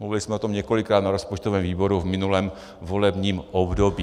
Mluvili jsme o tom několikrát na rozpočtovém výboru v minulém volebním období.